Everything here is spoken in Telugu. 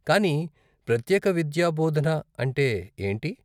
కానీ, ప్రత్యేక విద్యాబోధన అంటే ఏంటి?